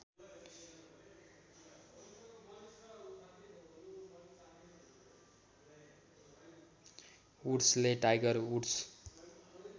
वुड्सले Tiger woods